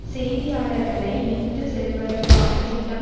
செய்தியாளர்களை இணைத்துச்செல்வதற்கான திட்டம்